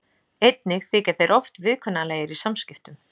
Einnig þykja þeir oft viðkunnanlegir í samskiptum.